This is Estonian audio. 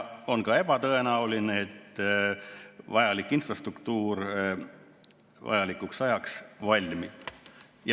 On ka ebatõenäoline, et vajalik infrastruktuur õigeks ajaks valmib.